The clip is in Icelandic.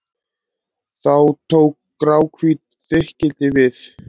Þá tók gráhvítt þykkildi við.